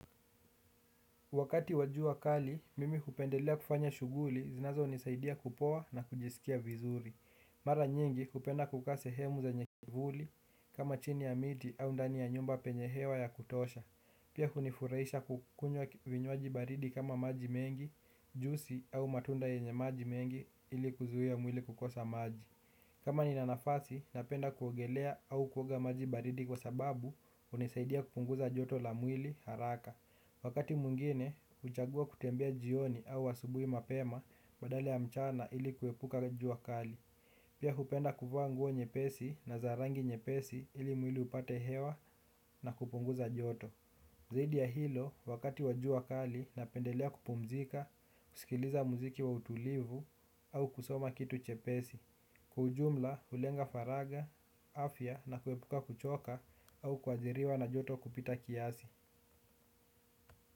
Wakati wa jua kali, mimi hupendelea kufanya shughuli, zinazonisaidia kupoa na kujisikia vizuri. Mara nyingi hupenda kukaa sehemu zenye kivuli, kama chini ya miti au ndani ya nyumba penye hewa ya kutosha. Pia hunifurahisha kukunywa vinywaji baridi kama maji mengi, juisi au matunda yenye maji mengi ili kuzuia mwili kukosa maji. Kama nina nafasi, napenda kuogelea au kuoga maji baridi kwa sababu, hunisaidia kupunguza joto la mwili haraka. Wakati mwingine, huchagua kutembea jioni au asubuhi mapema badala ya mchana ili kuepuka jua kali. Pia hupenda kuvaa nguo nyepesi na za rangi nyepesi ili mwili upate hewa na kupunguza joto. Zaidi ya hilo, wakati wa jua kali, napendelea kupumzika, kusikiliza muziki wa utulivu au kusoma kitu chepesi. Kwa ujumla, hulenga faragha, afya na kuepuka kuchoka au kuajiriwa na joto kupita kiasi.